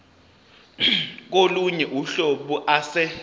kolunye uhlobo ase